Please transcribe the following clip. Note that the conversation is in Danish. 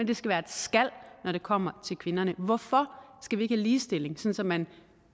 det skal være et skal når det kommer til kvinderne hvorfor skal vi ikke have ligestilling så man